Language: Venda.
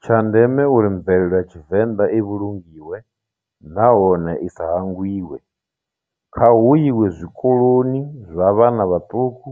Tsha ndeme uri mvelele ya tshivenḓa i vhulungiwe nahone i sa hangwiwe kha hu iwe zwikoloni zwa vhana vhaṱuku